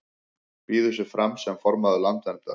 Býður sig fram sem formaður Landverndar